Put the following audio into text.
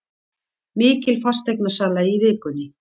Mikil fasteignasala í vikunni